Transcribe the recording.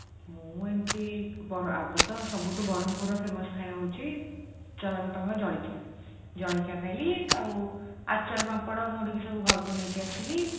ମୁଁ ଏମିତି ବରା ଆଗ ତ ସବୁଠୁ ବ୍ରହ୍ମପୁରର famous ଖାଇବା ହେଉଛି ଜଳଖିଆ ଜଳଖିଆ ଖାଇଲି ଆଉ ଆଚାର ପାମ୍ପଡ ମୁଡ଼କି ସବୁ ଘରକୁ ନେଇକି ଆସିଲି